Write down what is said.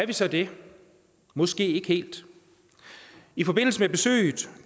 vi så det måske ikke helt i forbindelse med besøget